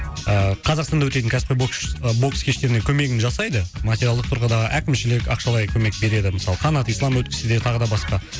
ыыы қазақстанда өтетін кәсіпқой бокс кештеріне көмегін жасайды материалдық тұрғыда әкімшілік ақшалай көмек береді мысалы канат ислам өткізсе де тағы да басқа